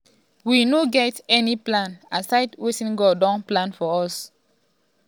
we no get any plan aside wetin god don design for us.